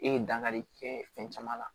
E ye dankari kɛ fɛn caman na